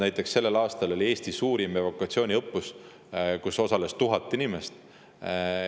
Näiteks sellel aastal oli Eesti suurim evakuatsiooniõppus, kus osales 1000 inimest.